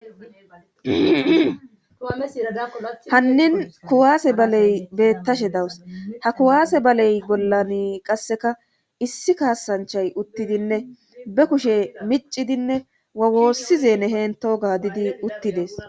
hannin kuwaase baley bettashe dawus ha kuwaase baley bollan qasseka issi kaasanchay uttidinne be kushe miccidinne wawoossizeene heento ga didi uttides